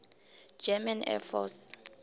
german air force